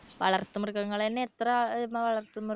വളർത്തു മൃഗങ്ങൾ തന്നെ എത്ര